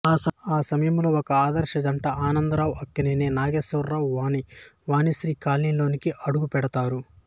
ఆ సమయంలో ఒక ఆదర్శ జంట ఆనందరావు అక్కినేని నాగేశ్వరరావు వాణి వాణిశ్రీ కాలనీలోకి అడుగుపెడతారు